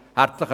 Herzlichen